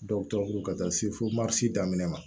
ka taa se fo daminɛ ma